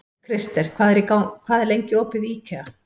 Krister, hvað er lengi opið í IKEA?